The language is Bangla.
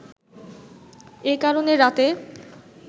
এ কারণে রাতে